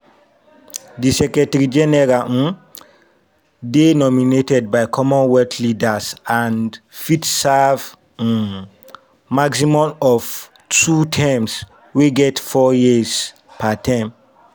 di secretary-general um dey nominated by commonwealth leaders and fit serve um maximum of two terms wey get four years per term.